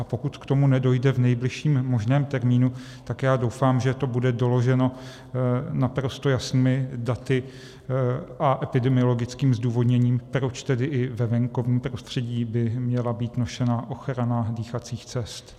A pokud k tomu nedojde v nejbližším možném termínu, tak já doufám, že to bude doloženo naprosto jasnými daty a epidemiologickým zdůvodněním, proč tedy i ve venkovním prostředí by měla být nošena ochrana dýchacích cest.